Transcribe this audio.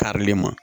Karili ma